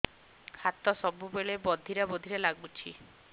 ହାତ ସବୁବେଳେ ବଧିରା ବଧିରା ଲାଗୁଚି